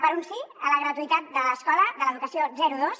per un sí a la gratuïtat de l’escola de l’educació zero dos